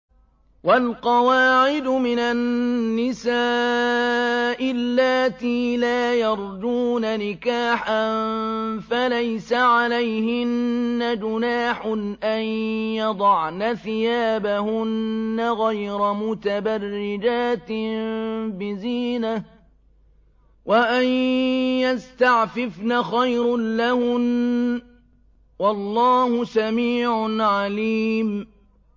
وَالْقَوَاعِدُ مِنَ النِّسَاءِ اللَّاتِي لَا يَرْجُونَ نِكَاحًا فَلَيْسَ عَلَيْهِنَّ جُنَاحٌ أَن يَضَعْنَ ثِيَابَهُنَّ غَيْرَ مُتَبَرِّجَاتٍ بِزِينَةٍ ۖ وَأَن يَسْتَعْفِفْنَ خَيْرٌ لَّهُنَّ ۗ وَاللَّهُ سَمِيعٌ عَلِيمٌ